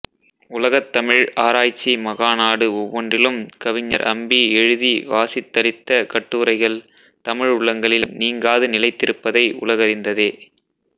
உலகத்தமிழ் ஆராய்ச்சி மகா நாடு ஒவ்வொன்றிலும் கவிஞர் அம்பி எழுதி வாசித்தளித்த கட்டுரைகள் தமிழ் உள்ளங்களில் நீங்காது நிலைத்திருப்பதை உலகறிந்ததே